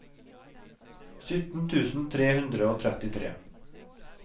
sytten tusen tre hundre og trettitre